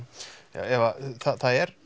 Eva það er